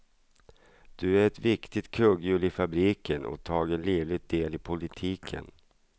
Du är ett viktigt kugghjul i fabriken och tager livlig del i politiken.